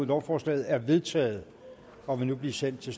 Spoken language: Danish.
lovforslaget er vedtaget og vil nu blive sendt til